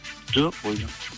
жоқ бойдақ